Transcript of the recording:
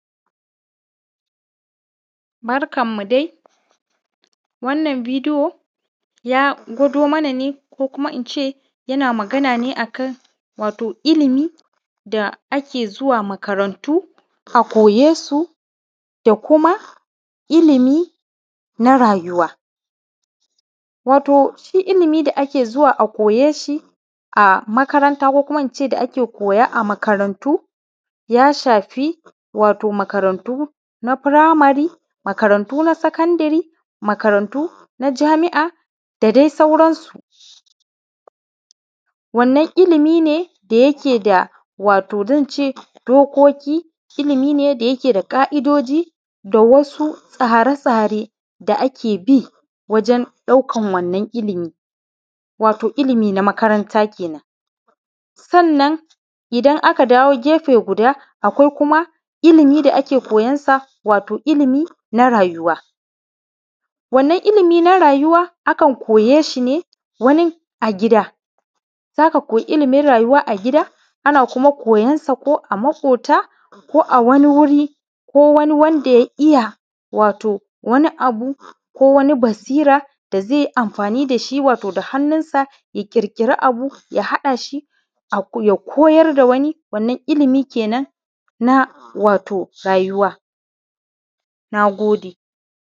Barkanmu dai wannan biidiyo ya gwado mana ne ko kuma ince yana magana ne akan wato ilimi da ake zuwa makarantu a koyesu da kuma ilimi na raayuwa. Wato shi ilimi da ake zuwa a koye shi a makaranta ko kuma ince da ake koya a makarantu ya shafi wato makarantu na firamari makarantu na sakandare makarantu na jami’a da dai sauransu. Wannan ilimi ne da yake da wato zan ce dokoki, ilimi ne da yake da ƙa’idoji da wasu tsare-tsare da ake bi wajen ɗaukan wannan ilimi, wato ilimi na makaranta kenan. sannan idan aka dawo gefe guda akwai kuma ilimi da ake koyansa wato ilimi na raayuwa. Wannan ilimi na raayuwa akan koyee shi ne wani a gida za ka koyi ilimin raayuwa a gida ana kuma koyansa ko a maƙoota ko a wani wuri ko wani wanda ya iya wato wani abu ko wani basira da zai yi amfaani da shi wato da hannunsa ya ƙirƙiri abu ya haɗa shi ya koyar da wani wannan ilimi kenan na wato raayuwa, naagode